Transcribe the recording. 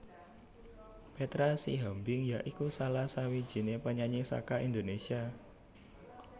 Petra Sihombing ya iku salah sawijiné penyanyi saka Indonésia